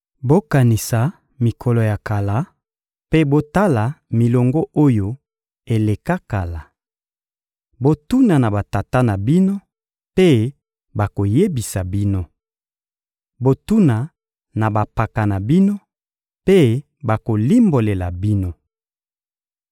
Bokanisa mikolo ya kala, mpe botala milongo oyo eleka kala! Botuna na batata na bino, mpe bakoyebisa bino. Botuna na bampaka na bino, mpe bakolimbolela bino.